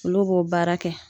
Olu b'o baara kɛ